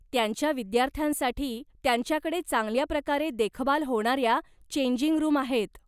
त्यांच्या विद्यार्थ्यांसाठी त्यांच्याकडे चांगल्याप्रकारे देखभाल होणाऱ्या चेंजिंग रूम आहेत.